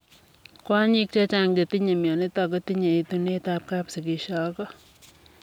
Kwonyiik chechang chetinye mionitok kotinyee etuneet ap kapsigisio ak koo